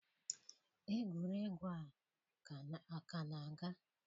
Egwuregwu a ka na-aga?